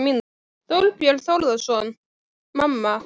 Þorbjörn Þórðarson: Mamma?